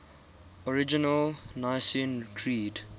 original nicene creed